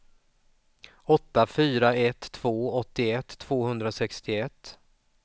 åtta fyra ett två åttioett tvåhundrasextioett